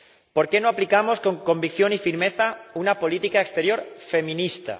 ¿Por qué no aplicamos con convicción y firmeza una política exterior feminista?